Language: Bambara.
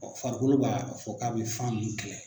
Farikolo ba a fɔ k'a bɛ fan ninnu kɛlɛ.